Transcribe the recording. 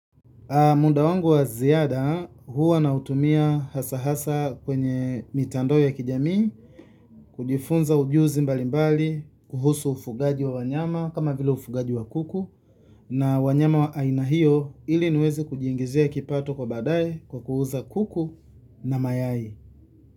Muda wangu wa ziada huwa na utumia hasa hasa kwenye mitandao ya kijamii, kujifunza ujuzi mbali mbali, kuhusu ufugaji wa wanyama kama vile ufugaji wa kuku na wanyama wa ainahio ili niweze kujiingizia kipato kwa baadaye kwa kuuza kuku na mayai.